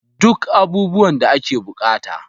Duk abubuwan da ake bukata.